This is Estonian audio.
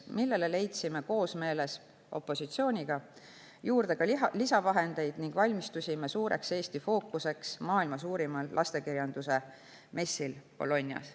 Selle jaoks leidsime koosmeeles opositsiooniga lisavahendeid ning valmistusime selleks, et Bolognas toimunud maailma suurimal lastekirjanduse messil oli fookuses Eesti.